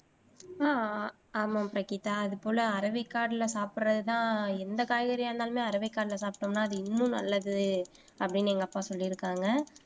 அஹ் ஆமாம் பிரகிதா அது போல அரவேக்காடுல சாப்பிடுறதுதான் எந்த காய்கறியாக இருந்தாலுமே அரவேக்காடுல சாப்பிட்டோம்ன்னா அது இன்னும் நல்லது அப்படின்னு எங்க அப்பா சொல்லி இருக்காங்க.